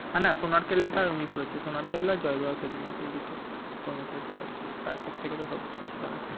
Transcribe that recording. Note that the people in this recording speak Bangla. না না সোনার কেল্লাটা উনি করেছিল সোনার কেল্লা আর জয়বাবা ভেলুনাথ এই দুটো সৌমিত্র চ্যাটার্জির তারপর থেকে তো সব্যসাচী করে